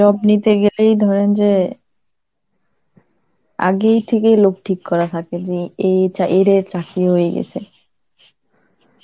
job নিতে গেলেই, ধরেন যে আগের থেকে লোক ঠিক করা থাকে যে এ চা~ এর এর চাকরি হয়ে গেছে.